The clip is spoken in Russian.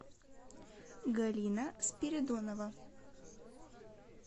галина спиридонова